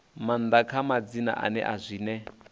maanḓa kha madzina ane zwine